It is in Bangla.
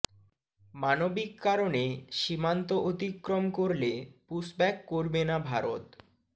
মানবিক কারণে সীমান্ত অতিক্রম করলে পুশব্যাক করবে না ভারত